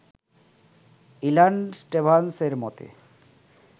ইলান Stavans এর মতে